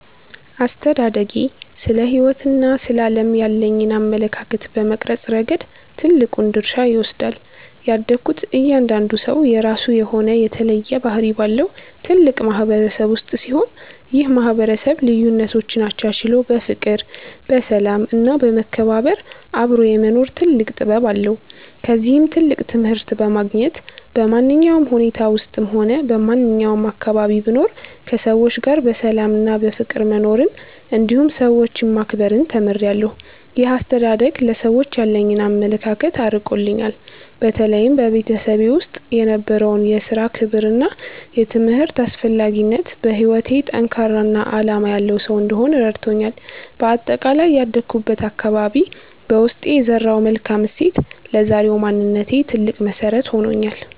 አስተዳደጌ ስለ ሕይወትና ስለ ዓለም ያለኝን አመለካከት በመቅረጽ ረገድ ትልቁን ድርሻ ይወስዳል። ያደግኩት እያንዳንዱ ሰው የራሱ የሆነ የተለየ ባህሪ ባለው ትልቅ ማህበረሰብ ውስጥ ሲሆን፣ ይህ ማህበረሰብ ልዩነቶችን አቻችሎ በፍቅር፣ በሰላም እና በመከባበር አብሮ የመኖር ትልቅ ጥበብ አለው። ከዚህም ትልቅ ትምህርት በማግኘት፣ በማንኛውም ሁኔታ ውስጥም ሆነ በማንኛውም አካባቢ ብኖር ከሰዎች ጋር በሰላምና በፍቅር መኖርን እንዲሁም ሰዎችን ማክበርን ተምሬያለሁ። ይህ አስተዳደግ ለሰዎች ያለኝን አመለካከት አርቆልኛል። በተለይም በቤተሰቤ ውስጥ የነበረው የሥራ ክብርና የትምህርት አስፈላጊነት፣ በሕይወቴ ጠንካራና ዓላማ ያለው ሰው እንድሆን ረድቶኛል። በአጠቃላይ ያደግኩበት አካባቢ በውስጤ የዘራው መልካም እሴት ለዛሬው ማንነቴ ትልቅ መሰረት ሆኖኛል።